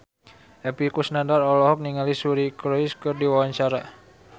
Epy Kusnandar olohok ningali Suri Cruise keur diwawancara